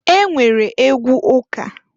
E nwere egwu ụka.